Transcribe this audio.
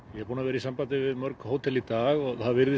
ég er búinn að vera í sambandi við mörg hótel í dag og þetta virðist